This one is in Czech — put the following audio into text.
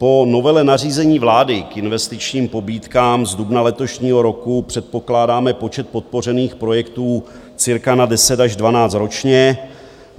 Po novele nařízení vlády k investičním pobídkám z dubna letošního roku předpokládáme počet podpořených projektů cca na 10 až 12 ročně.